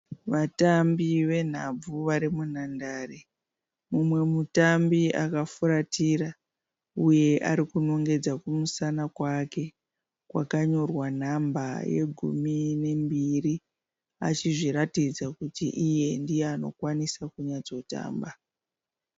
Vatambi venhabvu vari munhandare. Mumwe mutambi akafuratira, uye arikunongedza kumusana kwake kwakanyorwa nhamba yegumi nembiri achizviratidza kuti iye ndiye anokwanisa kunyatso tamba.